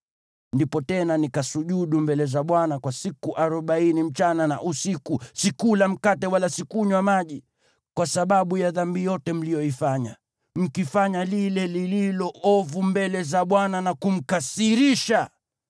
Ndipo tena nikasujudu mbele za Bwana kwa siku arobaini usiku na mchana. Sikula mkate wala sikunywa maji, kwa sababu ya dhambi yote mliyoifanya, mkifanya lile lililo ovu mbele za Bwana na kumkasirisha.